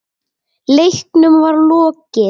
Leiknum var lokið.